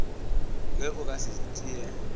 ge o ka se tšee